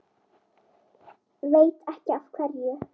Veit ekki af hverju.